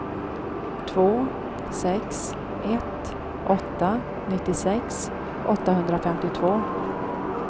två sex ett åtta nittiosex åttahundrafemtiotvå